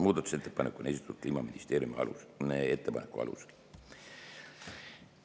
Muudatusettepanek on esitatud Kliimaministeeriumi ettepaneku alusel.